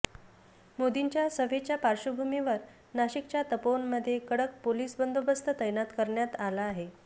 मोदींच्या सभेच्या पार्श्वभूमीवर नाशिकच्या तपोवनमध्ये कडक पोलिस बंदोबस्त तैनात करण्यात आला आहे